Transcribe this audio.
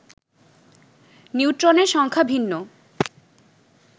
নিউট্রনের সংখ্যা ভিন্ন